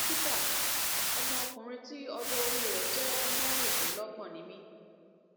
dókítà ọmọ ọkunrin tí ọjọ orí rẹ jẹ mẹrìndínlọgbọn ni mí